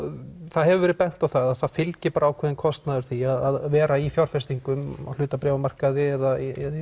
það hefur verið bent á að það fylgir bara ákveðinn kostnaður því að vera í fjárfestingum hlutabréfamarkaði eða